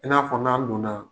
I n'a fɔ n'an don na